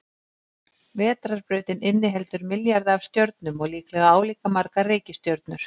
Vetrarbrautin inniheldur milljarða af stjörnum og líklega álíka margar reikistjörnur.